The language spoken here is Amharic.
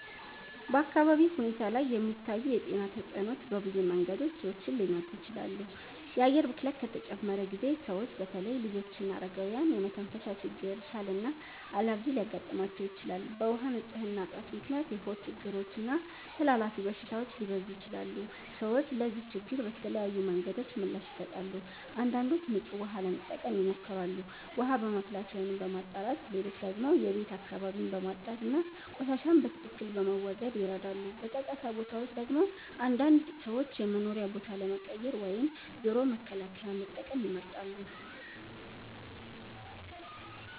በአካባቢ ሁኔታ ላይ የሚታዩ የጤና ተጽዕኖዎች በብዙ መንገዶች ሰዎችን ሊነኩ ይችላሉ። የአየር ብክለት ከተጨመረ ጊዜ ሰዎች በተለይ ልጆችና አረጋውያን የመተንፈሻ ችግር፣ ሳል እና አለርጂ ሊያጋጥማቸው ይችላል። በውሃ ንፅህና እጥረት ምክንያት የሆድ ችግሮች እና ተላላፊ በሽታዎች ሊበዙ ይችላሉ። ሰዎች ለዚህ ችግር በተለያዩ መንገዶች ምላሽ ይሰጣሉ። አንዳንዶች ንጹህ ውሃ ለመጠቀም ይሞክራሉ፣ ውሃ በማፍላት ወይም በማጣራት። ሌሎች ደግሞ የቤት አካባቢን በማጽዳት እና ቆሻሻን በትክክል በመወገድ ይረዳሉ። በጫጫታ ቦታዎች ደግሞ አንዳንድ ሰዎች የመኖሪያ ቦታ ለመቀየር ወይም ጆሮ መከላከያ መጠቀም ይመርጣሉ።